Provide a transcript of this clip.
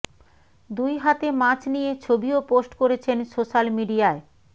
দুই হাতে মাছ নিয়ে ছবিও পোস্ট করেছেন সোশ্যাল মিডিয়ায়